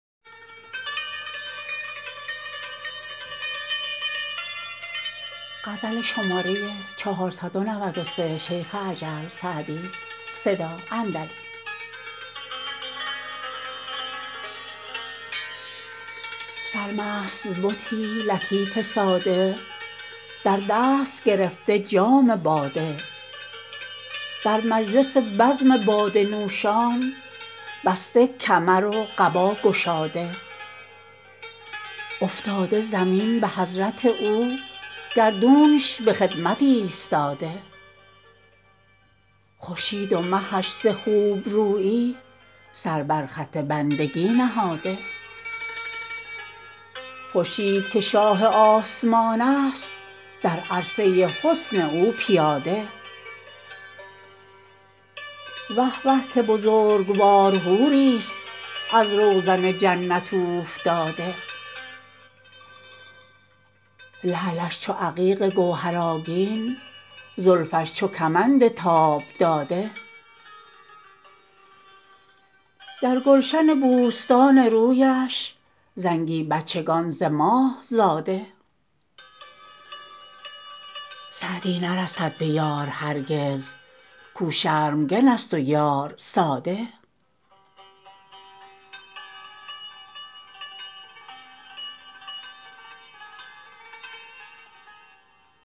سرمست بتی لطیف ساده در دست گرفته جام باده در مجلس بزم باده نوشان بسته کمر و قبا گشاده افتاده زمین به حضرت او گردونش به خدمت ایستاده خورشید و مهش ز خوبرویی سر بر خط بندگی نهاده خورشید که شاه آسمان است در عرصه حسن او پیاده وه وه که بزرگوار حوریست از روزن جنت اوفتاده لعلش چو عقیق گوهرآگین زلفش چو کمند تاب داده در گلشن بوستان رویش زنگی بچگان ز ماه زاده سعدی نرسد به یار هرگز کاو شرمگن است و یار ساده